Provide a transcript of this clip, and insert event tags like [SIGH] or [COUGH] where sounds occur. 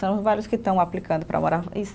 São vários que estão aplicando para morar. [UNINTELLIGIBLE]